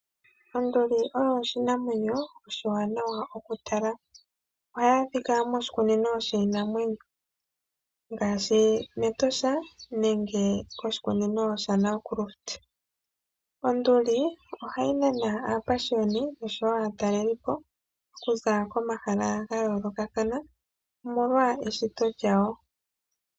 Onduli oyo oshinamwanyo oshiwaanawa oku tala. Ohayi adhika moshikunino shiinamwenyo ngaashi mEtosha nenge koshikunino shaNagrut. Onduli ohayi nana aapashiyoni oshowo aataleli po okuza komahala ga yoolokathana, omolwa eshito lyayo.